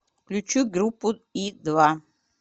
включи группу и два